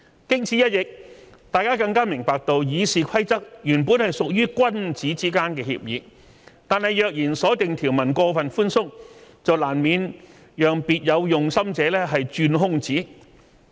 經此一役，大家更加明白到《議事規則》原本屬於君子之間的協議，但若然所訂條文過分寬鬆，便難免讓別有用心者鑽空子。